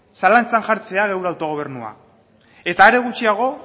zalantzan jartzea gure autogobernua eta are gutxiago